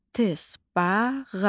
Tısbağa.